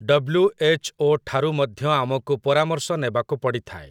WHO. ଠାରୁ ମଧ୍ୟ ଆମକୁ ପରାମର୍ଶ ନେବାକୁ ପଡ଼ିଥାଏ ।